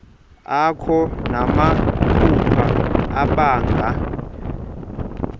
akho namaphupha abanga